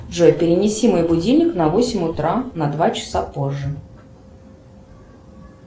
джой перенеси мой будильник на восемь утра на два часа позже